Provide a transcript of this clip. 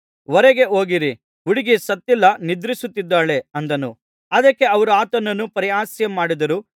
ಹೊರಗೆ ಹೋಗಿರಿ ಹುಡುಗಿ ಸತ್ತಿಲ್ಲ ನಿದ್ರಿಸುತ್ತಿದ್ದಾಳೆ ಅಂದನು ಅದಕ್ಕೆ ಅವರು ಆತನನ್ನು ಪರಿಹಾಸ್ಯ ಮಾಡಿದರು